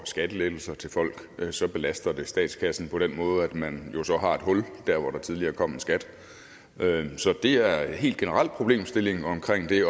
skattelettelser til folk så belaster statskassen på den måde at man jo så har et hul der hvor der tidligere kom en skat så det er en helt generel problemstilling omkring det